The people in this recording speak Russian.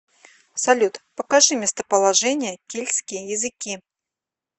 салют покажи местоположение кельтские языки